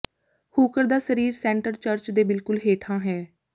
hooker ਦਾ ਸਰੀਰ centre church ਦੇ ਬਿਲਕੁਲ ਹੇਠਾਂ ਹੈ